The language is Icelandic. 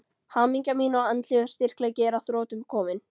Hamingja mín og andlegur styrkleiki er að þrotum kominn.